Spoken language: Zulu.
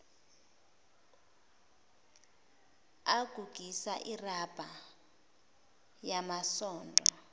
agugisa irabha yamasondo